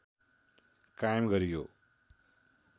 कायम गरियो